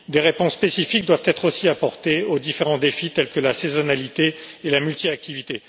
Des réponses spécifiques doivent aussi être apportées aux différents défis, tels que la saisonnalité et la multiactivité.